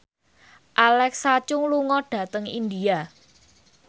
Alexa Chung lunga dhateng India